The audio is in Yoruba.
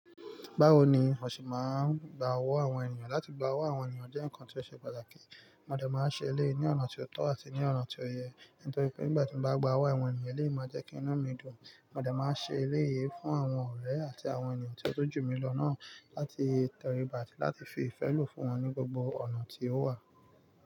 Báwo ni mo ṣe máa ń gba owó àwọn ènìyàn? Láti gba owó àwọn ènìyàn jẹ́ ǹkan tí ó ṣe pàtàkì. Mo dẹ̀ máa ṣe eléyìí ní ọ̀nà tí ó tọ́ àti ní ọ̀nà tí ó yẹ, nítorí pé nígbà tí mo bá gba owó àwọn ènìyàn, lé máa jẹ́ kí inu mi dùn. Mo dẹ̀ máa ṣe eléyìí fún àwọn ọ̀rẹ́ àti àwọn ènìyàn tí ó tọ́jú mi lọ náà láti tọ̀rí bá àti láti fi ìfẹ́ lò fún wọn ní gbogbo ọ̀nà tí ó wà.